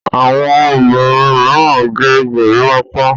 àwọn obìrin míràn gẹ̀ gorimopa.